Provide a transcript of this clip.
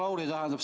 Hea Lauri!